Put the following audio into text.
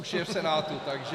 Už je v Senátu, takže...